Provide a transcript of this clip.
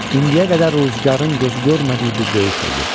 İndiyə qədər ruzigarın gözü görmədiyi bir döyüş oldu.